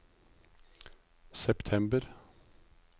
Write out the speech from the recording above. september